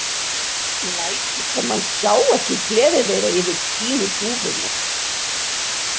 Lætur sem hann sjái ekki gleði þeirra yfir fínu dúfunni.